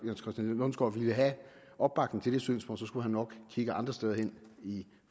lundsgaard ville have opbakning til det synspunkt så skulle han nok kigge andre steder hen i